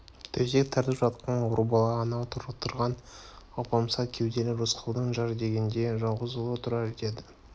төсек тартып жатқан ауру бала анау отырған алпамса кеуделі рысқұлдың жар дегенде жалғыз ұлы тұрар еді